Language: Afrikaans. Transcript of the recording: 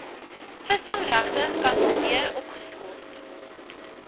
visvangregte gekanselleer opgeskort